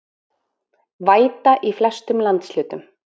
Væta í flestum landshlutum